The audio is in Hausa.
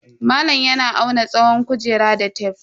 Malam yana auna tsawon kujerar da tef.